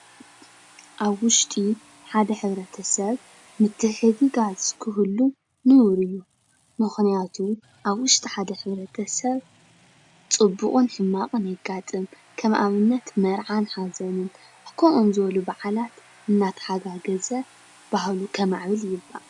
ኣብ ውሽጢ ሓደ ሕ/ሰብ ምትሕግጋዝ ክህሉ ንቡር እዩ፡፡ ምኽንያቱ ኣብ ውሽጢ ሓደ ሕ/ሰብ ፅቡቕን ሕማቕን የጋጥም ከም ኣብነት መርዓን ሓዘንን ኣብ ከምኦም ዝበሉ በዓላት እናተሓጋገዘ ባህሉ ከማዕብል ይግባእ፡፡